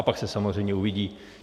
A pak se samozřejmě uvidí.